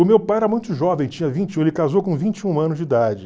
O meu pai era muito jovem, tinha vinte e um, ele casou com vinte e um anos de idade.